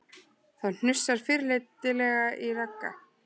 Það hnussar fyrirlitlega í Ragga